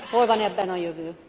Hol van ebben a jövő?